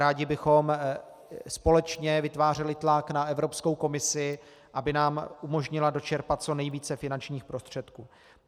Rádi bychom společně vytvářeli tlak na Evropskou komisi, aby nám umožnila dočerpat co nejvíce finančních prostředků.